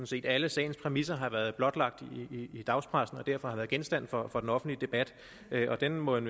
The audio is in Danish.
set alle sagens præmisser har været blotlagt i dagspressen og derfor har været genstand for for den offentlige debat og den må en